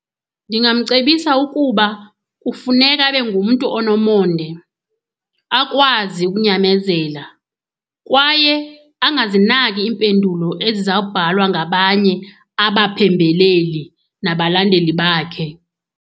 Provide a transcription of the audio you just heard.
Ndingamcebisa ukuba kufuneka abe ngumntu onomonde, akwazi ukunyamezela kwaye angazinaki iimpendulo ezizawubhalwa ngabanye abaphembeleli nabalandeli bakhe.